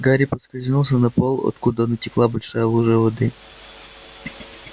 гарри поскользнулся на пол откуда натекла большая лужа воды